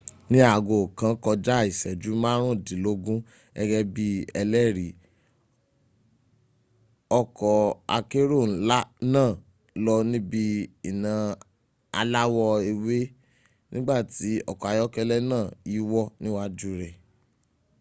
ni aago kàn kojá ìséjú márùndínlógún gégé bi ẹlẹri ọkò akérò náà lọ níbi iná aláwọ ewé nígbàtí ọkọ̀ ayọ́kélẹ´ náà yíwọ́ níwájú rẹ̀